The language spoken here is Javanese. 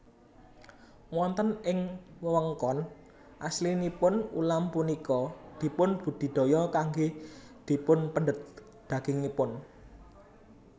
Wonten ing wewengkon aslinipun ulam punika dipun budidaya kanggé dipunpendhet dagingipun